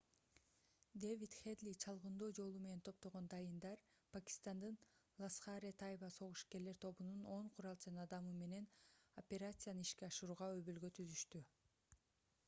дэвид хедли чалгындоо жолу менен топтогон дайындар пакистандын ласхар-э-тайба согушкерлер тобунун 10 куралчан адамы менен операцияны ишке ашырууга өбөлгө түзүштү